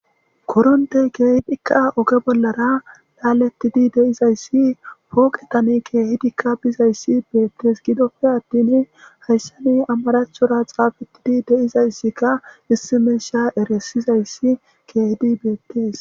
Korontey keehidika oge bollara laaletid de'izaysi poqetani keehidika bizaysi beetesi, gidoppe atin haysan amarathora xaafetid de'izaysika issi misha erisizaysi keehid betesi.